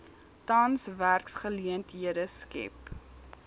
tans werksgeleenthede skep